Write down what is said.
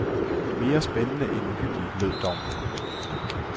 Mere spændende end uhyggelig, lød dommen.